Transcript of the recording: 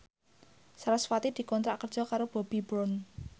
sarasvati dikontrak kerja karo Bobbi Brown